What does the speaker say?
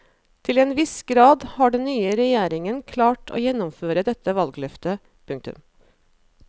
Til en viss grad har den nye regjeringen klart å gjennomføre dette valgløftet. punktum